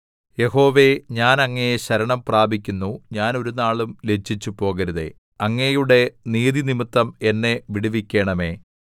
യഹോവേ ഞാൻ അങ്ങയെ ശരണം പ്രാപിക്കുന്നു ഞാൻ ഒരുനാളും ലജ്ജിച്ചുപോകരുതേ അങ്ങയുടെ നീതിനിമിത്തം എന്നെ വിടുവിക്കണമേ